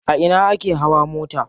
A ina ake hawa mota?